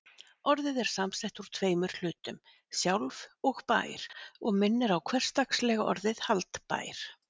Orðið er sett saman úr tveimur hlutum, sjálf- og-bær og minnir á hversdagslega orðið haldbær.